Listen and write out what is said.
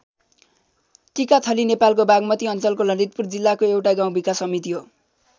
टिकाथली नेपालको बागमती अञ्चलको ललितपुर जिल्लाको एउटा गाउँ विकास समिति हो।